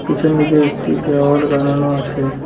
পিছনদিকে একটি দেওয়াল গারানো আছে।